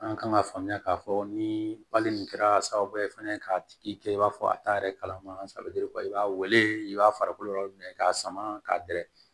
An kan ka faamuya k'a fɔ ni nin kɛra sababu ye fɛnɛ k'a tigi kɛ i b'a fɔ a t'a yɛrɛ kalama a bɛ i b'a weele i b'a farikolo yɔrɔ minɛ k'a sama ka dɛrɛ